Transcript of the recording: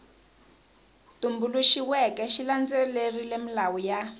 tumbuluxiweke xi landzelerile milawu ya